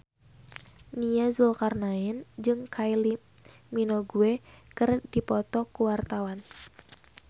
Nia Zulkarnaen jeung Kylie Minogue keur dipoto ku wartawan